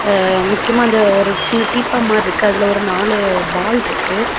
அஅ முக்கியமா அந்த ஒரு சின்ன டீப்பா மாறி இருக்கு அதுல ஒரு நாலு பால் இருக்கு.